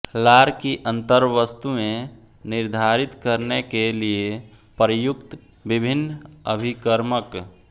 लार की अंतर्वस्तुएं निर्धारित करने के लिए प्रयुक्त विभिन्न अभिकर्मक